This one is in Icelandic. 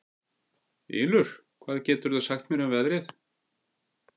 Ylur, hvað geturðu sagt mér um veðrið?